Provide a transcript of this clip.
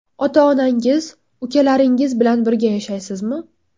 Ota-onangiz, ukalaringiz bilan birga yashaysizmi?